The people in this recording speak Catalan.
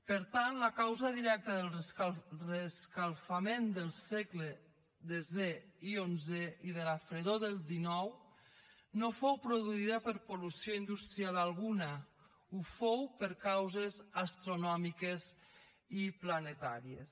per tant la causa directa del reescalfament del segles desè i onzè i de la fredor del xix no fou produïda per pol·lució industrial alguna ho fou per causes astronòmiques i planetàries